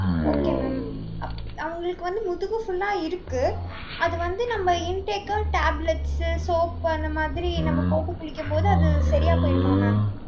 okay mam அப்~ அவுங்களுக்கு வந்து, முதுகு full ஆ இருக்கு. அது வந்து, நம்ம intake, tablets, soap அந்த மாதிரி, நம்ம போட்டு குளிக்கும் போது, அது சரியா போயிடுமா, mam